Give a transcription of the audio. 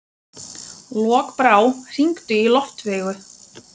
Lokbrá, hringdu í Loftveigu.